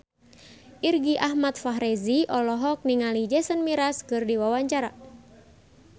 Irgi Ahmad Fahrezi olohok ningali Jason Mraz keur diwawancara